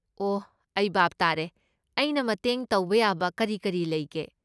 ꯑꯣꯍ ꯑꯩ ꯚꯥꯞ ꯇꯥꯔꯦ꯫ ꯑꯩꯅ ꯃꯇꯦꯡ ꯇꯧꯕ ꯌꯥꯕ ꯀꯔꯤ ꯀꯔꯤ ꯂꯩꯒꯦ?